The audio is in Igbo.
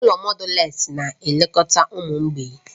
Ụlọ mọdales na-elekọta ụmụ mgbei